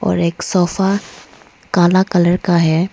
और एक सोफा काला कलर का है।